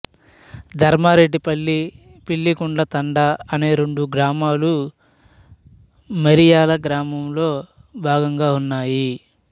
ధర్మారెడ్డిపల్లి పిల్లిగుండ్ల తండా అనే రెండు గ్రామాలు మరియాల గ్రామంలో భాగంగా ఉన్నాయి